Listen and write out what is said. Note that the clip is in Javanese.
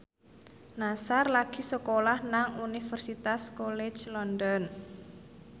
Nassar lagi sekolah nang Universitas College London